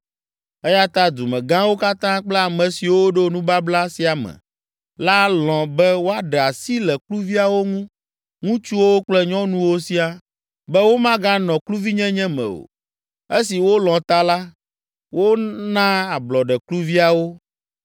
Eya ta dumegãwo katã kple ame siwo ɖo nubabla sia me la lɔ̃ be woaɖe asi le kluviawo ŋu, ŋutsuwo kple nyɔnuwo siaa, be womaganɔ kluvinyenye me o. Esi wolɔ̃ ta la, wona ablɔɖe kluviawo.